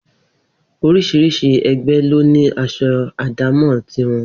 Orís̩irís̩i e̩gbé̩ ló ní as̩o̩ àdámò̩ ti wo̩n